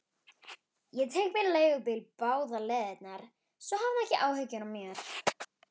Ég tek mér leigubíl báðar leiðir, svo hafðu ekki áhyggjur.